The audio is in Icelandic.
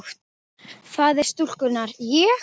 Faðir stúlkunnar: Ég?